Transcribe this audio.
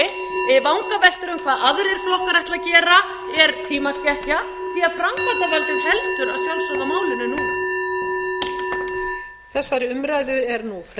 um hvað aðrir flokkar ætla að gera er tímaskekkja því framkvæmdarvaldið heldur að sjálfsögðu á málinu núna